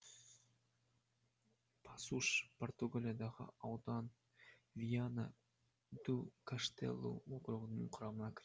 пасуш португалиядағы аудан виана ду каштелу округінің құрамында